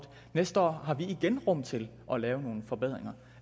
næste år har vi igen rum til at lave nogle forbedringer